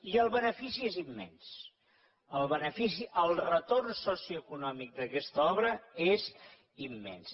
i el benefici és immens el retorn socioeconòmic d’aquesta obra és immens